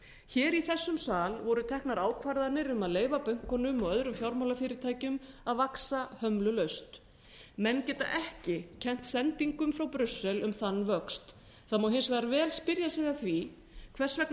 alls í þessum sal voru teknar ákvarðanir um að leyfa bönkunum og öðrum fjármálafyrirtækjum að vaxa hömlulaust menn geta ekki kennt sendingum frá brussel um þann vöxt það má hins vegar vel spyrja sig að því hvers vegna